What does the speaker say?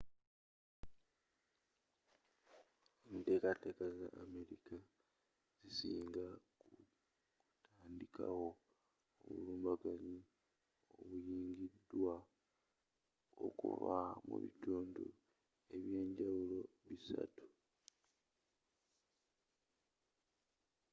enteka teeka za american zesigama ku kutandikawo obulumbaganyi obuyungiddwa okuva mu bitundu ebyenjawulo bisatu